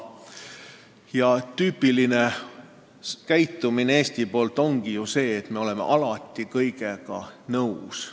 Aga Eesti tüüpiline käitumine ongi ju selline, et me oleme alati kõigega nõus.